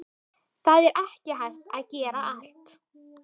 Það er ekki hægt að gera allt